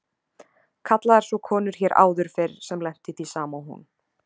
Kallaðar svo konur hér áður fyrr sem lentu í því sama og hún.